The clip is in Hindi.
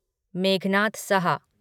मेघनाद सहा